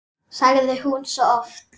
sagði hún svo oft.